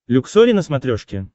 люксори на смотрешке